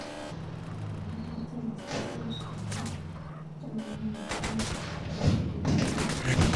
Magat icheng' che itos komie, che manamei mionwog'ik ak chependi eng' siret